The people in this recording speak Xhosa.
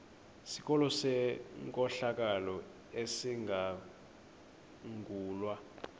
sikolo senkohlakalo esizangulwa